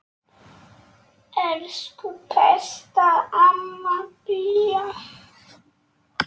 Elsku besta amma Bía.